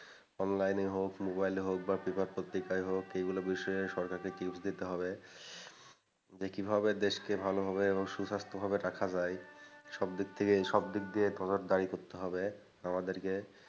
online এ হোক mobile এ হোক বা paper পত্রিকায় হোক এগুলো বিষয়ে সরকারকে tips দিতে হবে যে কিভাবে দেশকে ভালোভাবে এবং সুস্বাস্থ্য ভাবে রাখা যায় সবদিক থেকে সবদিক দিয়ে দাই করতে হবে আমাদেরকে,